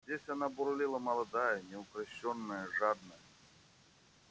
здесь она бурлила молодая неукрощенная жадная